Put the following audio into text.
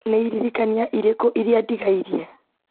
nĩ iririkania irĩkũ iria ndigairie